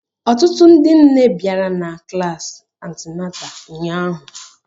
Ọtụtụ ndị nne bịara na klasi antịnátà ụnyahụ